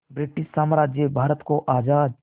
British साम्राज्य भारत को आज़ाद